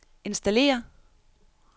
installere